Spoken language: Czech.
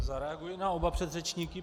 Zareaguji na oba předřečníky.